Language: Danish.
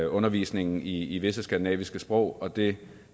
undervisningen i visse skandinaviske sprog og det